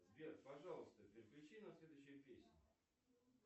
сбер пожалуйста переключи на следующую песню